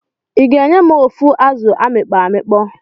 Iga enyem ofu azụ amikpoọ amikpọ?